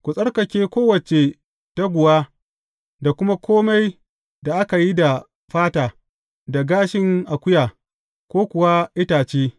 Ku tsarkake kowace taguwa da kuma kome da aka yi da fata, da gashin akuya, ko kuwa itace.